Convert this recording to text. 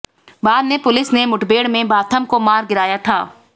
बाद में पुलिस ने मुठभेड़ में बाथम को मार गिराया था